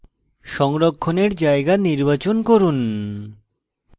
file সংরক্ষণের জায়গা নির্বাচন করুন